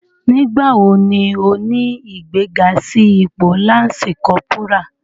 Nigbawo ni o ni igbega si ipo Lansi Kọpura?